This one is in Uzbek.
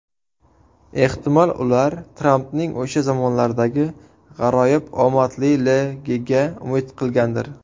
Ehtimol ular Trampning o‘sha zamonlardagi g‘aroyib omadliligiga umid qilgandir.